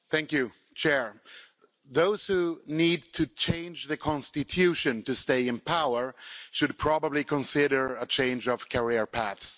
Madam President, those who need to change the constitution to stay in power should probably consider a change of career path.